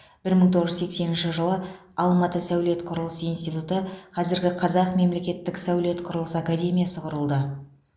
бір мың тоғыз жүз сексенінші жылы алматы сәулет құрылыс институты қазіргі қазақ мемлекеттік сәулет құрылыс академиясы құрылды